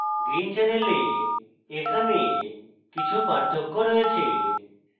green channel এখানে কিছু পার্থক্য রয়েছে